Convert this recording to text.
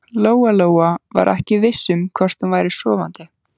Lóa-Lóa var ekki viss um hvort hún væri sofandi.